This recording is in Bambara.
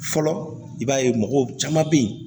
Fɔlɔ i b'a ye mɔgɔw caman bɛ yen